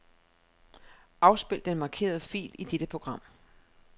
Afspil den markerede fil i dette program.